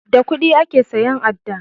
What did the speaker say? Da kuɗi ake siyan adda